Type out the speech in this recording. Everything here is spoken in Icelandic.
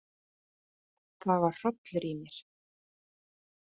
Það var hrollur í mér.